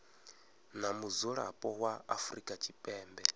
na mudzulapo wa afrika tshipembe